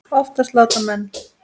Oftast láta menn